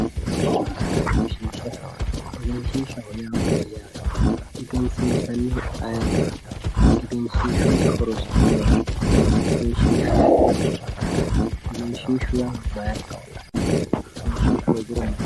Egenshisha egenshishaho yaa mayaate egensisanihu ayirati egenshishuyiti horosi maati egenshishu mama afamano egenshishu mayira kaalano.